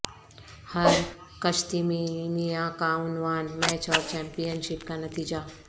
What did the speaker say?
ہر کشتمینیا کا عنوان میچ اور چیمپئن شپ کا نتیجہ